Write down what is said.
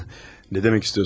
Nə demək istəyirsiniz?